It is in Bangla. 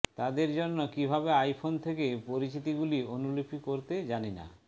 তাদের জন্য কিভাবে আইফোন থেকে পরিচিতিগুলি অনুলিপি করতে জানি না